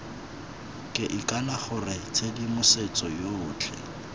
ke ikana gore tshedimosetso yotlhe